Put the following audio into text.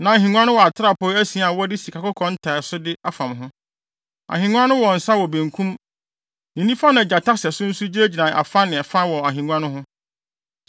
Na ahengua no wɔ atrapoe asia a wɔde sikakɔkɔɔ ntiasode afam ho. Ahengua no wɔ nsa wɔ benkum. Ne nifa na gyata sɛso nso gyinagyina afa ne fa wɔ ahengua no ho.